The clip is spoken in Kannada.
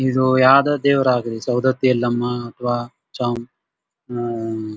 ಇದು ಯಾವುದೊ ದೇವ್ರ್ ಆಗ್ಲಿ ಸೌದತ್ತಿ ಎಲ್ಲಮ್ಮ ಅಥವಾ ಚೊಂಬ ಆಹ್ಹ್ --